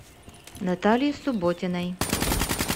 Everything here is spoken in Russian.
натальи субботиной